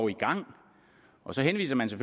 i gang og så henviser man så